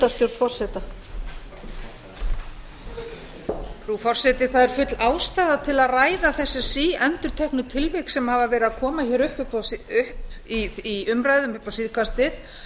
frú forseti það er full ástæða til að ræða þessi síendurteknu tilvik sem hafa verið að koma upp í umræðum upp á síðkastið